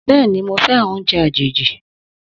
Bẹ́ẹ̀ni, mo fẹ́ràn oúnjẹ àjèjì